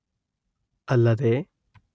ಅಲ್ಲದೆ